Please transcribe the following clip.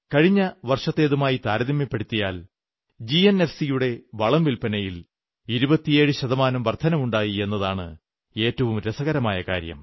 കഴിഞ്ഞ വർഷത്തേതുമായി താരതമ്യപ്പെടുത്തിയാൽ ജിഎൻഎഫ്സിയുടെ വളം വില്പ്പനയിൽ 27 ശതമാനം വർധനവുമുണ്ടായി എന്നതാണ് ഏറ്റവും രസകരമായ കാര്യം